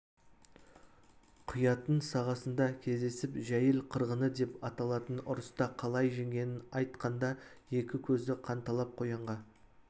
құятын сағасында кездесіп жәйіл қырғыны деп аталатын ұрыста қалай жеңгенін айт-қанда екі көзі қанталап қоянға